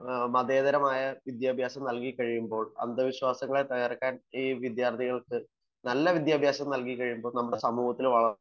മതേതരമായ വിദ്യാഭ്യാസം നല്കിക്കഴിയുമ്പോൾ അന്ധവിശ്വാസങ്ങളെ തകർക്കാൻ ഈ വിദ്യാർത്ഥികൾക്ക് നല്ല വിദ്യാഭ്യാസം നൽകി കഴിയുമ്പോൾ നമ്മുടെ സമൂഹത്തിൽ വളർച്ച